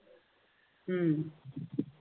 हम्म